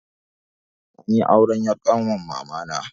Anyi auren 'yar ƙanwar mamana.